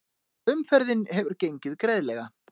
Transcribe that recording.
Umferðin hefur gengið greiðlega